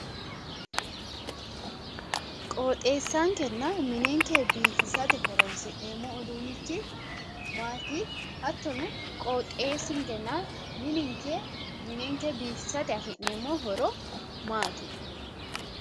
Qoxeessankenna minenke biifisate horonsi'neemmo uduunnichi maati? Hattono Qoxeessinkenna minenke biifisate afi'neemmo horo maati?